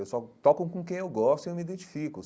Eu só toco com quem eu gosto e eu me identifico.